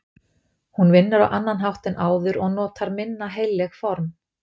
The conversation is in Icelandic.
Hún vinnur á annan hátt en áður og notar minna heilleg form.